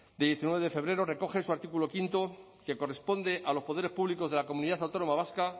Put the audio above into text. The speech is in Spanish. de diecinueve de febrero recoge en su artículo quinto que corresponde a los poderes públicos de la comunidad autónoma vasca